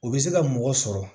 O bɛ se ka mɔgɔ sɔrɔ